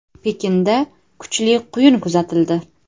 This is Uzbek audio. Pekinda kuchli quyun kuzatildi.